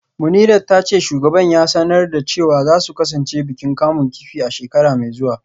Munirat ta ce shugaban ya sanar da cewa za su kasance bikin kamun kifi a shekara mai zuwa